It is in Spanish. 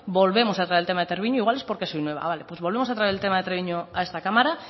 volvemos a traer el tema de treviño igual es porque soy nueva vale pues volvemos a traer el tema de treviño a esta cámara